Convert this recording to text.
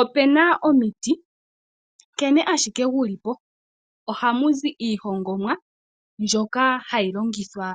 Opena omiti dhimwe nkene ashike dhili po ohadhizi iihongomwa ndjoka hayi longithwa